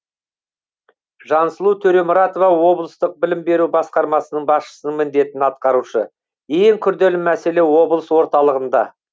жансұлу төремұратова облыстық білім беру басқармасының басшысының міндетін атқарушы ең күрделі мәселе облыс орталығында